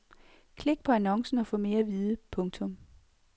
Klik på annoncen og få mere at vide. punktum